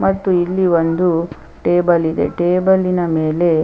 ಮತ್ತು ಇಲ್ಲಿ ಒಂದು ಟೇಬಲ್ ಇದೆ ಟೇಬಲ್ ನ ಮೇಲೆ--